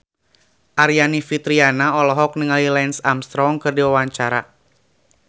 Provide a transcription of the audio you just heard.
Aryani Fitriana olohok ningali Lance Armstrong keur diwawancara